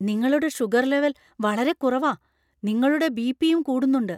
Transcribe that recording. നിങ്ങളുടെ sugar level വളരെ കുറവാ, നിങ്ങളുടെ ബി. പി. യും കൂടുന്നുണ്ട് .